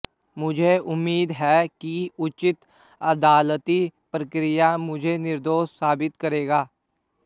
मुझे उम्मीद है कि उचित अदालती प्रक्रिया मुझे निर्दोष साबित करेगा